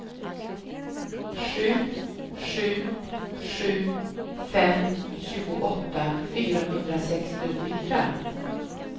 sju sju sju fem tjugoåtta fyrahundrasextiofyra